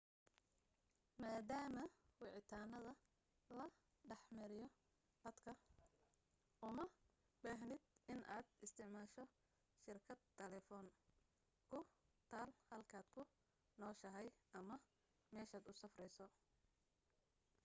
maadaama wicitaanda la dhex mariyo khadka uma baahnid inaad isticmaasho shirkad taleefan ku taal halkaad ku nooshahay ama meeshaad u safrayso